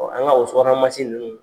Ɔn an ka o subahana mansi ninnu